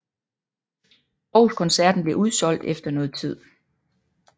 Aarhus koncerten blev udsolgt efter noget tid